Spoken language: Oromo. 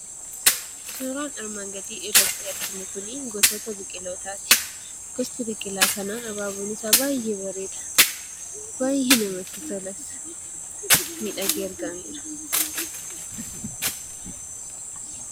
Suuraan armaan gadii irratti arginu kun gosoota biqilootaati. Gosti biqilaa kanaa abaaboon isaa baay'ee bareeda. Baay'ee namatti tolas. Miidhagee argameera.